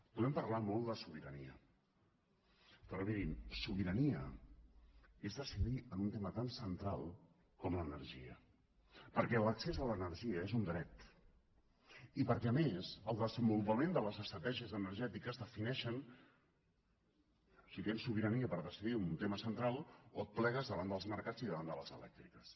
podem parlar molt de sobirania però mirin sobirania és decidir en un tema tan central com l’energia perquè l’accés a l’energia és un dret i perquè a més el desenvolupament de les estratègies energètiques defineixen si tens sobirania per decidir un tema central o et plegues davant dels mercats i davant de les elèctriques